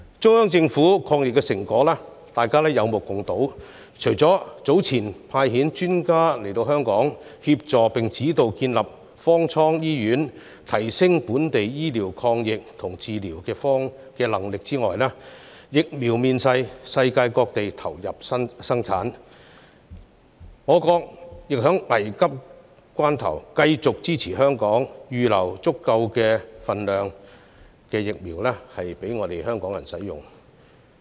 中央政府的抗疫成果，大家也有目共睹，除了早前派遣專家到港協助並指導建立方艙醫院，以提升本地抗疫醫療及治療的能力外，現時更有疫苗面世，世界各地也投入生產，國家亦在危急關頭繼續支持香港，預留足夠分量的疫苗予港人使用。